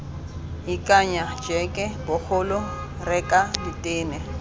ikanya jeke bogolo reka ditene